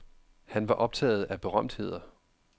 Han var optaget af berømtheder.